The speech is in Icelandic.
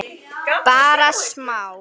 Bara smá.